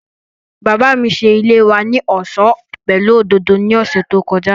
Bàbá mi ṣe ilé wa ní ọ̀ṣọ́ pẹ̀lú òdòdó ní ọ̀sẹ̀ tí ó kọjá